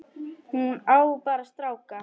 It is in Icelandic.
Hún á bara stráka.